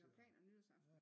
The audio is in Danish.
Har planer nytårsaften